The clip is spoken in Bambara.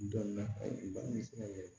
Dɔnniya baara bɛ se ka kɛ